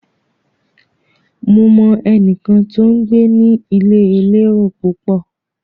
Mo mọ ẹnìkan tó ń gbé ní ilé elérò púpọ̀.